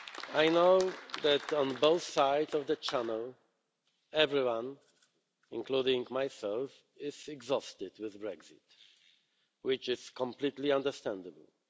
I know that on both sides of the Channel, everyone, including myself, is exhausted with Brexit, which is completely understandable.